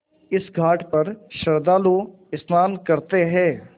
इस घाट पर श्रद्धालु स्नान करते हैं